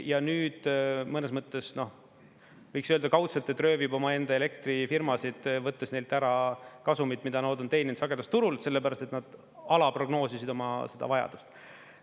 Ja nüüd mõnes mõttes, noh, võiks öelda, kaudselt, et röövib omaenda elektrifirmasid, võttes neilt ära kasumid, mida nad on teeninud sagedusturul, sellepärast et nad alaprognoosisid oma seda vajadust.